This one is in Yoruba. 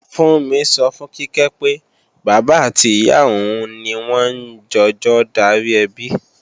Fúnmi sọ fún Kíkẹ́ pé, bàbá àti ìyá òun ni wọ́n ń jọjọ darí ẹbi